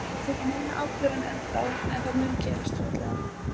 Við höfum ekki tekið neina ákvörðun ennþá en það mun gerast mjög fljótlega.